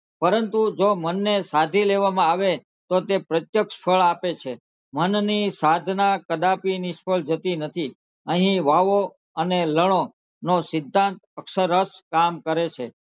પરંતુ જો મનને સાધી લેવામાં આવે તો તે પ્રત્યક્ષ ફળ આપે છે મનની સાધના કદાપી નિષ્ફળ જતી નથી અહીં વાવો અને લડો નો સિદ્ધાંત અક્ષરક્ષ કામ કરે છે.